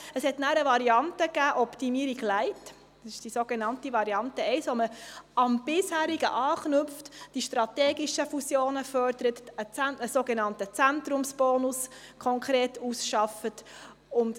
Es gab dann die Variante «Optimierung light», die sogenannte Variante 1, mit der man am Bisherigen anknüpft, die strategischen Fusionen fördert und einen sogenannten Zentrumsbonus konkret ausarbeitet.